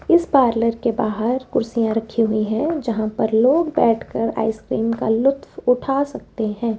इस पार्लर के बाहर कुर्सियां रखी हुईं हैं जहां पर लोग बैठकर आइसक्रीम का लुफ्त उठा सकते हैं।